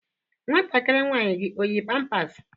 Nwantakịrị nwaanyị gị o yi pampas?